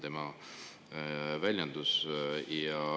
" Selline oli tema väljendus.